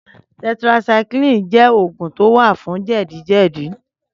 Tẹtirásàíkiliní jè ógún tó wá fún jẹdi jẹdi